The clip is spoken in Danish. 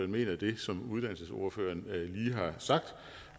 mener det som uddannelsesordføreren lige har sagt